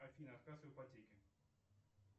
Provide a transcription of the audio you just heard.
афина отказ в ипотеке